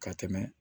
Ka tɛmɛ